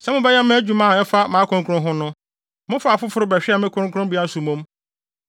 Sɛ mobɛyɛ mo adwuma a ɛfa mʼakronkronne ho no, momaa afoforo bɛhwɛɛ me kronkronbea so mmom.